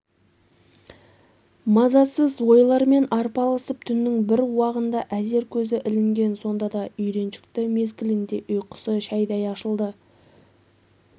мазасыз ойлармен арпалысып түннің бір уағында әзер көзі ілінген сонда да үйреншікті мезгілінде ұйқысы шәйдей ашылды